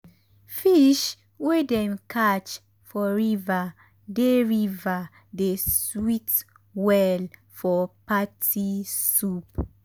fish wey dem catch for river dey river dey sweet well for party soup.